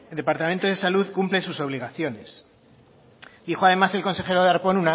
departamento de salud cumple sus obligaciones dijo además el consejero darpón